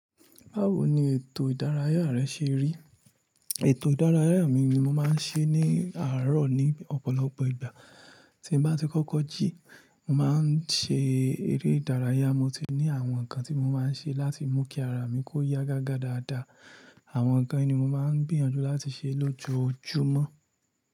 Báwo ni ètò ìdárayá rẹ ṣe rí? Ètò ìdárayá mi ni mo máa ń ṣe ní àárọ̀ ní ọ̀pọ̀lọpọ̀ ìgbà. Tí mo bá ti kọ́kọ́ jí, mo máa ń ṣe eré ìdárayá. Mo ti ní àwọn nǹkan tí mo máa ń ṣe láti mú kí ara mi kó ya gágá dáadáa. Àwọn nǹkan yìí ni mo máa ń gbiyànjú láti ṣe lójoojúmọ́.